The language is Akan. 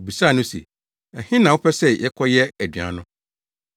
Wobisaa no se, “Ɛhe na wopɛ sɛ yɛkɔyɛ aduan no?”